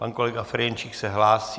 Pan kolega Ferjenčík se hlásí.